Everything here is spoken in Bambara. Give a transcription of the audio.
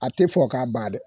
A tɛ fɔ k'a ba dɛ